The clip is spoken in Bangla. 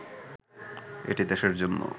এটি দেশের জন্য